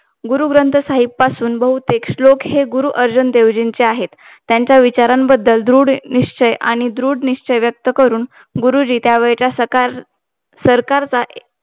गुरुग्रंथ साहेब पासून बहुतेक श्लोक हे, गुरुअर्जुन देव जी चे आहे. त्यांच्या विचारांबद्दल धृढ निश्चय आणि दृढ निश्चय व्यक्त करू, गुरुजी त्यावेळचा सरकारचा